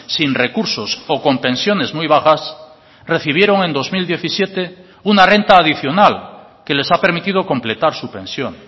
sin recursos o con pensiones muy bajas recibieron en dos mil diecisiete una renta adicional que les ha permitido completar su pensión